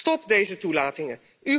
Stop deze toelatingen!